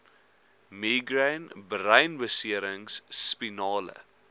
migraine breinbeserings spinale